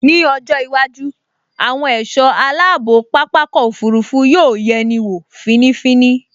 Ní ọjọ́ iwájú, àwọn ẹ̀ṣọ́ aláàbò pápákọ̀ òfurufú yóò yẹni wọ̀ fínífíní